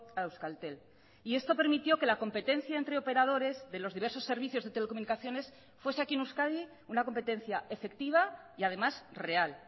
a euskaltel y esto permitió que la competencia entre operadores de los diversos servicios de telecomunicaciones fuese aquí en euskadi una competencia efectiva y además real